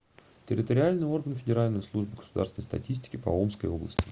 территориальный орган федеральной службы государственной статистики по омской области